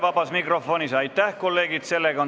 Vabas mikrofonis sõna soovijaid ei ole.